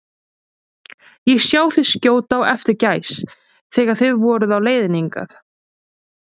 Ég sá þig skjóta á eftir gæs, þegar þið voruð á leiðinni hingað